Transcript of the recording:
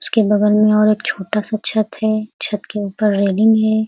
उसके बगल में और एक छोटा सा छत है। छत के ऊपर रेलिंग है।